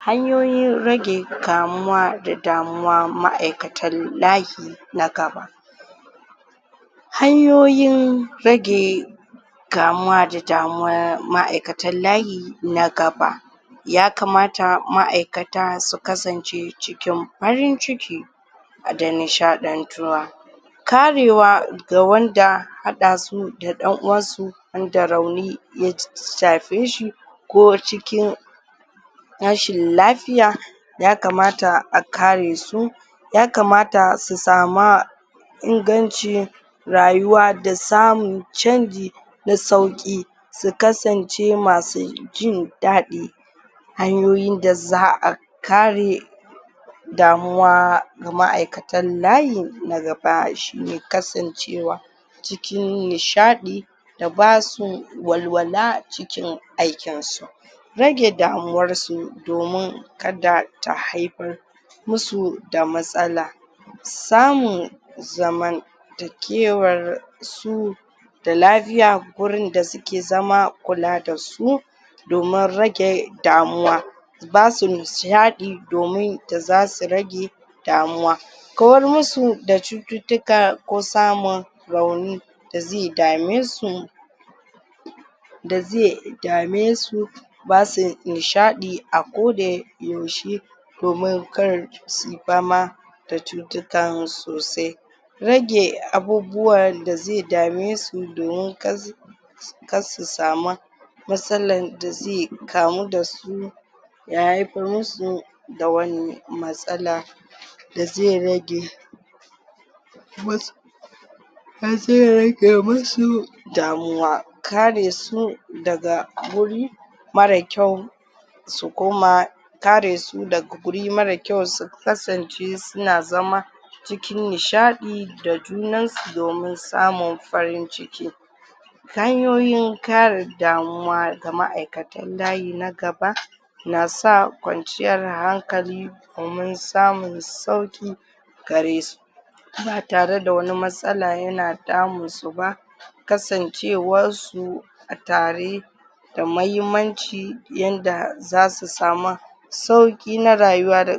hanyoyin rage kamuwa da damuwa ma'aikatan lahi na gaba hanyoyin rage kamuwa da damuwa ma'aikatan layi na gaba ya kamata ma'aikata su kasance cikin farin ciki da nishaɗantuwa karewa ga wanda haɗasu da ɗan uwansu wanda rauni ya shafe shi ko cikin rashin lafiya ya kamata a kare su ya kamata su sama inganci rayuwa da samun canji na sauƙi su kasance masu jin daɗi hanyoyin da za'a kare damuwa ga ma'aikatan layi na gaba shine kasancewa cikin nisahɗi da basu walwala cikin aikin su rage damuwarsu domin kada ta haifar musu da matsala samun zaman takewar su da lafiya gurin da suke zama kula da su domin rage damuwa basu nishaɗi domin da zasu rage damuwa kawar musu da cututtuka ko samun rauni dazai dame su da zai damesu basu nishaɗi a koda yaushe domin kar suyi fama da cutukan sosai. rage abubuwan da zai dame su domin kar kar su sama matsalan dazai kamu dasu ya haifar musu da wani matsala da zai rage da zi rage musu damuwa kare su daga wuri mare kyau su koma kare su daga guri mare kyau su kasance suna zama cikin nishaɗi da junan su domin samun farin ciki hanyoyin kare damuwa ga ma'aikatan layi na gaba na sa kwanciyar hankali domin samun sauƙi gare su ba tare da wani matsala yana damun su ba kasancewar su a tare da mahimmanci yanda zasu sama sauƙi na rayuwa.